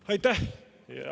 Aitäh!